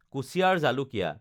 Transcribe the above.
কুঁচিয়াৰ জালুকীয়া